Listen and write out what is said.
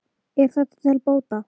Er þetta til bóta.